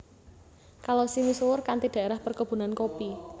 Kalosi misuwur kanthi daerah perkebunan kopi